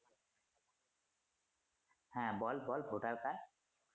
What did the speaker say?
হ্যা বল বল Voter Card